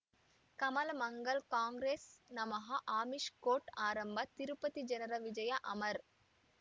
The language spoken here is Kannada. ಕಮಲ್ ಮಂಗಳ್ ಕಾಂಗ್ರೆಸ್ ನಮಃ ಅಮಿಷ್ ಕೋರ್ಟ್ ಆರಂಭ ತಿರುಪತಿ ಜನರ ವಿಜಯ ಅಮರ್